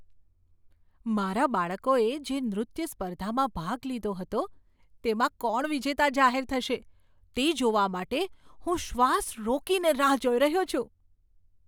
મારા બાળકોએ જે નૃત્ય સ્પર્ધામાં ભાગ લીધો હતો, તેમાં કોણ વિજેતા જાહેર થશે તે જોવા માટે હું શ્વાસ રોકીને રાહ જોઈ રહ્યો છું.